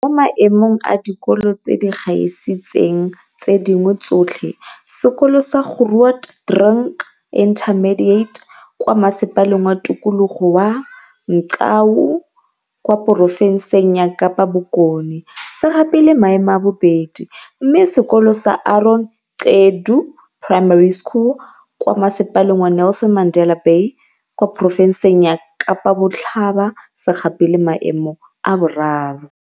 Mo Maemong a Dikolo tse di Gaisitseng tse Dingwe Tsotlhe, sekolo sa Grootdrink Intermediate kwa Masepaleng wa Tikologo wa Mgcawu kwa porofenseng ya Kapa Bokone, se gapile maemo a bobedi, mme sekolo sa Aaron Gqedu Primary School, kwa Masepaleng wa Nelson Mandela Bay kwa porofenseng ya Kapa Botlhaba se gapile maemo a boraro.